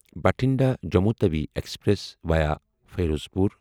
Bathinda Jammu Tawi express via Ferozepur